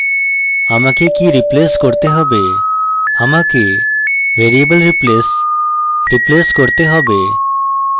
আমাকে কি replace করতে হবে আমাকে variable replace replace করতে হবে